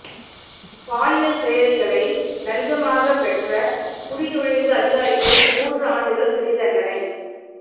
பாலியல் சேவைகளை லஞ்சமாகப் பெற்ற குடிநுழைவு அதிகாரிக்கு மூன்று ஆண்டுகள் சிறைத் தண்டனை